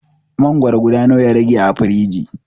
Mangwaro guda nawa ya rage a firiji?